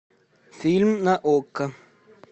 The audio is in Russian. фильм на окко